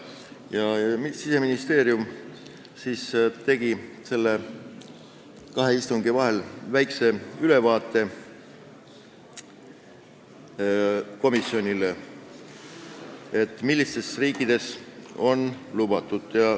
Siseministeerium andis kahe istungi vahel komisjonile väikese ülevaate, millistes riikides on need lubatud.